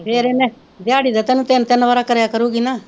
ਫਿਰ ਇਹਨੇ ਦਿਆਰੀ ਦਾ ਤੈਨੂੰ ਤਿੰਨ ਤਿੰਨ ਵਰਾ ਕਰਿਆ ਕਰੂਗੀ ਨਾ।